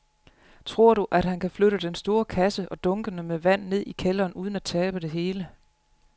Tror du, at han kan flytte den store kasse og dunkene med vand ned i kælderen uden at tabe det hele?